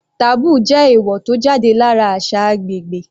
Taboo jẹ́ èèwò tó jáde lára àṣà agbègbè.